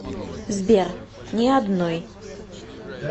сбер ни одной